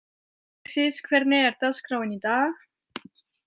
Alexis, hvernig er dagskráin í dag?